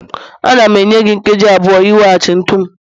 Ana m enye gị nkeji abụọ iweghachi ntu m